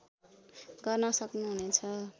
गर्न सक्नुहुनेछ